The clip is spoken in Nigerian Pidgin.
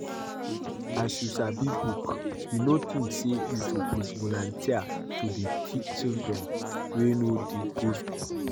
As you sabi book, you no think say you suppose volunteer to dey teach children wey no dey go school?